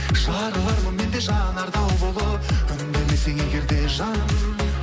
жарылармын мен де жанар тау болып үндемесең егер де жаным